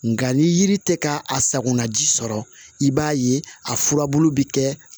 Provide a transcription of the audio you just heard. Nga ni yiri tɛ ka a sakona ji sɔrɔ i b'a ye a furabulu bɛ kɛ